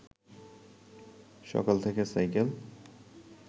সকাল থেকে সাইকেল